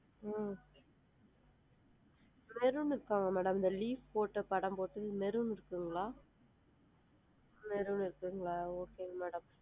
ஹம் maroon இருக்கா madam இந்த leaf போட்டு படம் போட்டு maroon இருக்குங்களா? maroon இருக்குங்களா okay madam